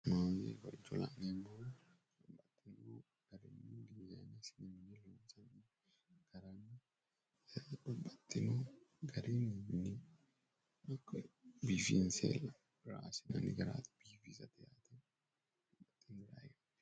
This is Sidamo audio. hattino garunni biifinse raa assinanni garaati